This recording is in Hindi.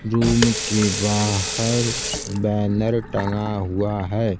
रूम के बाहर बैनर टंगा हुआ है।